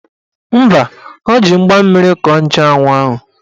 Mba, o ji mgba mmiri kọọ nchanwụ ahụ.